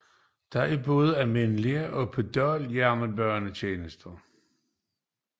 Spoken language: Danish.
Der er både almindelige og pendlerjernbanetjenester